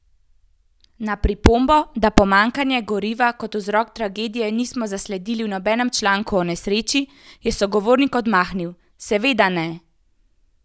Na pripombo, da pomanjkanja goriva kot vzrok tragedije nismo zasledili v nobenem članku o nesreči, je sogovornik odmahnil: "Seveda ne!